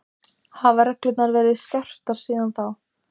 Fréttamaður:. áunnist yfir helgina?